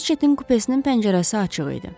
Reçetin kupesinin pəncərəsi açıq idi.